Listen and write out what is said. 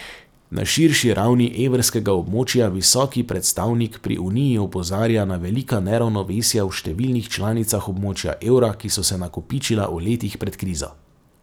Na širši ravni evrskega območja visoki predstavnik pri uniji opozarja na velika neravnovesja v številnih članicah območja evra, ki so se nakopičila v letih pred krizo.